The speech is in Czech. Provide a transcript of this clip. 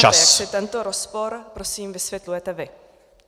Jak si tento rozpor prosím vysvětlujete vy?